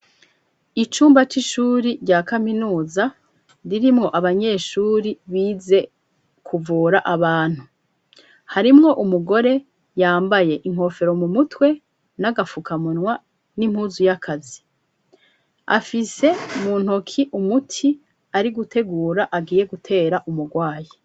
Icumba c'ishuri rya kaminuza, ririmwo abanyeshuri bize kuvura abantu, harimwo umugore yambaye inkofero mu mutwe n'agafukamunwa n'impuzu y'akazi, afise mu ntoki umuti ari gutegura agiye gutera umurwayi.